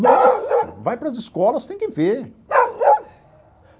Nossa, vai para as escolas, tem que ver.